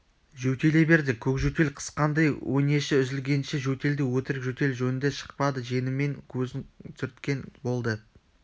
жөтеле берді көк жөтел қысқандай өңеші үзілгенше жөтелді өтірік жөтел жөнді шықпады жеңімен көзін сүрткен болды